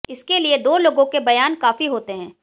इसके लिए दो लोगों के बयान काफी होते हैं